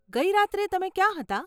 ગઇ રાત્રે તમે ક્યાં હતા?